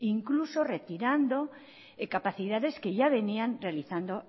incluso retirando capacidades que ya venían realizando